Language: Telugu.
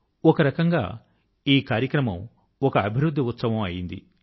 ఒక రకం గా ఈ కార్యక్రమం ఒక అభివృద్ధి ఉత్సవం అయింది